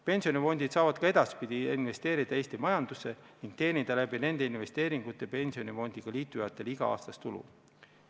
Pensionifondid saavad ka edaspidi investeerida Eesti majandusse ning teenida sel moel pensionifondiga liitujatele iga-aastast tulu.